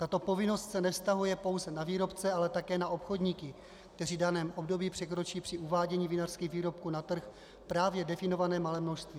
Tato povinnost se nevztahuje pouze na výrobce, ale také na obchodníky, kteří v daném období překročí při uvádění vinařských výrobků na trh právě definované malé množství.